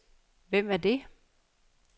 Hvem er det